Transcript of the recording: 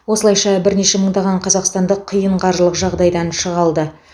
осылайша бірнеше мыңдаған қазақстандық қиын қаржылық жағдайдан шыға алды